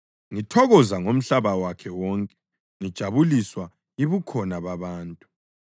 ngithokoza ngomhlaba wakhe wonke ngijabuliswa yibukhona babantu.